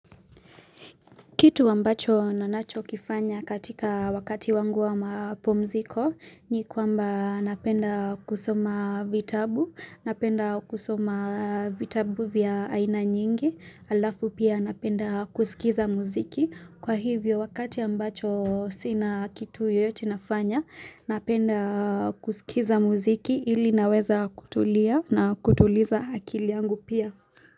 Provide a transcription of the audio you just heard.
Kitu ambacho nanacho kifanya katika wakati wangu wa mapumziko ni kwamba napenda kusoma vitabu, napenda kusoma vitabu vya aina nyingi, alafu pia napenda kusikiza muziki. Kwa hivyo wakati ambacho sina kitu yoyote nafanya napenda kusikiza muziki ili naweza kutulia na kutuliza akiliangu pia.